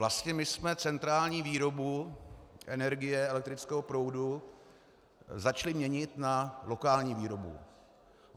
Vlastně my jsme centrální výrobu energie, elektrického proudu, začali měnit na lokální výrobu.